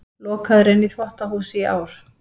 Lokaður inni í þvottahúsi í ár